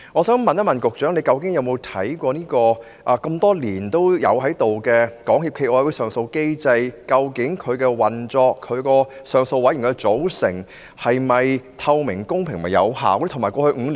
請問局長曾否檢視這個已存在多年的港協暨奧委會上訴機制的運作，以及其上訴委員會的組成是否透明、公平和有效呢？